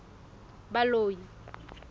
baloi